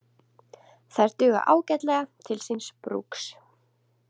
Þær duga ágætlega til síns brúks.